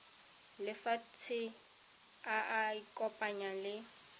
lefatshe a ka ikopanya le